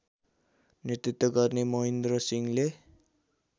नेतृत्व गर्ने महिन्द्रसिंहले